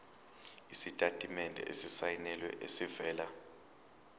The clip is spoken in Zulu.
isitatimende esisayinelwe esivela